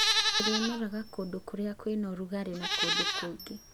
Ĩrĩmeraga kũndũ kũrĩa kũrĩ ũrugarĩ na kũndũ kũngĩ